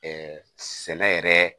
sɛnɛ yɛrɛ